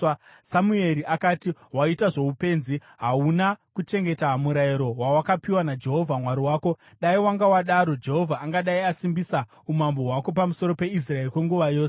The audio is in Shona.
Samueri akati, “Waita zvoupenzi. Hauna kuchengeta murayiro wawakapiwa naJehovha Mwari wako; dai wanga wadaro, Jehovha angadai asimbisa umambo hwako pamusoro peIsraeri kwenguva yose.